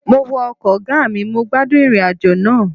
Mo wọ ọkọ̀ ọgá mi, mo gbádùn ìrìn àjò náà